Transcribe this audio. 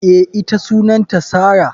Eh, ita Sunanta Sarah.